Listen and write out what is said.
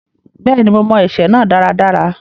Bẹ́ẹ̀ni, mo mọ ẹsẹ náà dáradára.